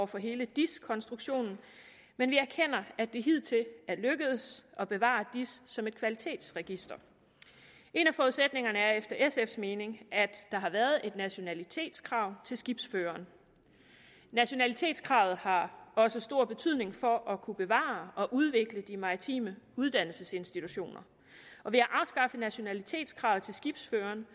for hele dis konstruktionen men vi erkender at det hidtil er lykkedes at bevare dis som et kvalitetsregister en af forudsætningerne er efter sfs mening at der har været et nationalitetskrav til skibsføreren nationalitetskravet har også stor betydning for at kunne bevare og udvikle de maritime uddannelsesinstitutioner og ved at afskaffe nationalitetskravet til skibsføreren